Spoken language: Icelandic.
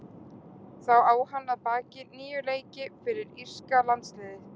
Þá á hann að baki níu leiki fyrir írska landsliðið.